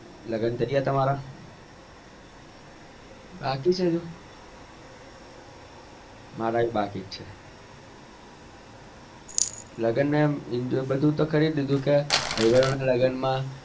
લગ્ન કાર્ય તમારા બાકી છે હજુ મારા બી બાકી છે લગ્ન